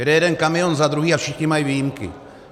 Jede jeden kamion za druhým a všichni mají výjimky.